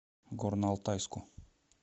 горно алтайску